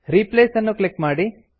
replace ಅನ್ನು click ಮಾಡಿ